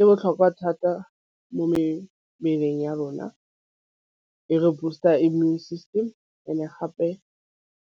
E botlhokwa thata mo mebeleng ya rona e re boost-a immune system and-e gape